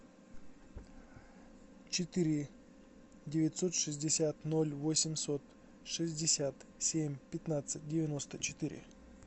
четыре девятьсот шестьдесят ноль восемьсот шестьдесят семь пятнадцать девяносто четыре